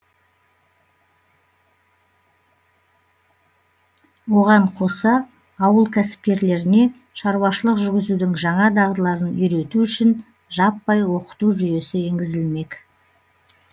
оған қоса ауыл кәсіпкерлеріне шаруашылық жүргізудің жаңа дағдыларын үйрету үшін жаппай оқыту жүйесі енгізілмек